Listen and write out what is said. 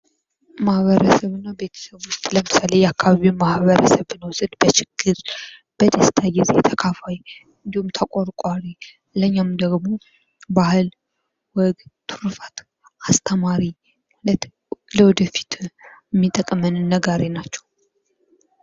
ማህበረሰብና ቤተሰብ። ለምሳሌ የአካባቢውን ማህበረሰብ ብንወስድ በችግር፣ በደስታ ጊዜ ተካፋይ እንዲሁም ተቆርቋሪ። ለኛም እንደወጉ ባህል ወግ ትሩፋቱን አስተማሪ፣ ለወደፊት የሚጠቅመንን ነጋሪ ናቸው።